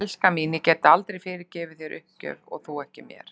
Elskan mín, ég gæti aldrei fyrirgefið þér uppgjöf og þú ekki mér.